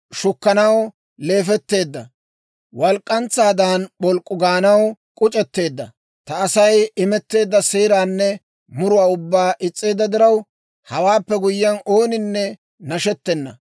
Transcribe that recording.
Shukkanaw leefetteedda. Walk'k'antsaadan p'olk'k'u gaanaw k'uc'etteedda. Ta Asay imetteedda seeraanne muruwaa ubbaa is's'eedda diraw, hawaappe guyyiyaan, ooninne nashettena.